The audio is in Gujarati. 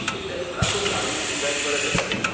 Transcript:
એટલે હમણાં તો ચાંદીની ડીઝાઈન પર જ અટકીએ.